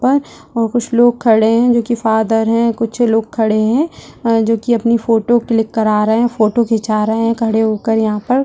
पर और कुछ लोग खड़े हैं जो की फादर है कुछ लोग खड़े हैं और जो की अपनी फोटो क्लिक करा रहे है फोटो खिंचा रहे है खड़े हो कर यहाँ पर।